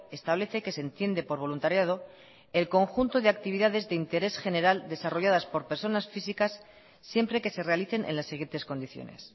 establece que se entiende por voluntariado el conjunto de actividades de interés general desarrolladas por personas físicas siempre que se realicen en las siguientes condiciones